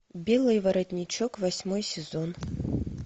белый воротничок восьмой сезон